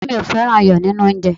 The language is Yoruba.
ọrẹ mi o fẹràn iyo ninu onje